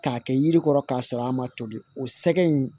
K'a kɛ yiri kɔrɔ k'a sɔrɔ a ma tobi o sɛgɛ in